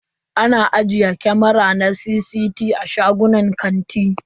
Ana ajiye kamara na CCT a shagunan kanti.